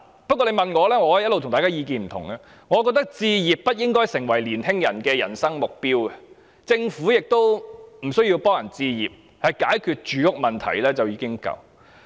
不過，如果問我——我的意見一向與大家不同——我認為置業不應該成為青年人的人生目標，政府亦無須協助市民置業，單單解決住屋問題便已足夠。